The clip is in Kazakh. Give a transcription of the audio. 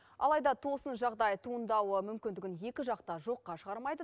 алайда тосын жағдай туындауы мүмкіндігін екі жақ та жоққа шығармайды